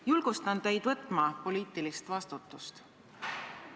Julgustan teid võtma poliitilist vastutust.